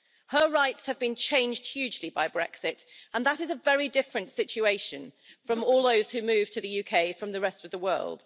Her rights have been changed hugely by Brexit, and that is a very different situation from all those who moved to the UK from the rest of the world.